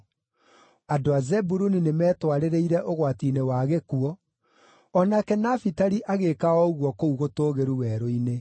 Andũ a Zebuluni nĩmetwarĩrĩire ũgwati-inĩ wa gĩkuũ; o nake Nafitali agĩĩka o ũguo kũu gũtũũgĩru werũ-inĩ.